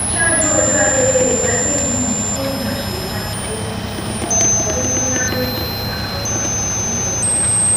ṣáájú ọjọ ayẹyẹ ìgbàdé yìí ni gomina sèyí makinde ti fi ọkọ olówó ńlá méjì ta ọba tuntun yìí lọrẹ